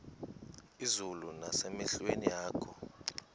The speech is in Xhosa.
izulu nasemehlweni akho